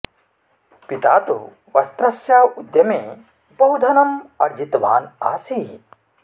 पिता तु वस्त्रस्य उद्यमे बहु धनं आर्जितवान् आसीत्